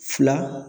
Fila